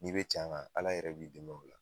N'i be can ala yɛrɛ b'i dɛmɛ ola